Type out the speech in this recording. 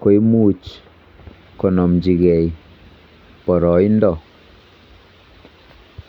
kimuch konomchigee boroindo.